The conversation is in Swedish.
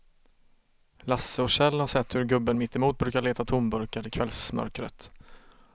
Lasse och Kjell har sett hur gubben mittemot brukar leta tomburkar i kvällsmörkret.